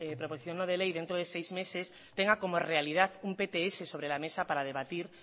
proposición no de ley dentro de seis meses tenga como realidad un pts sobre la mesa para debatir